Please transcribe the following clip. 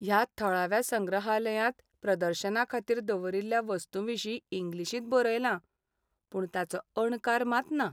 ह्या थळाव्या संग्रहालयांत प्रदर्शनाखातीर दवरिल्ल्या वस्तूंविशीं इंग्लीशींत बरयलां, पूण ताचो अणकार मात ना.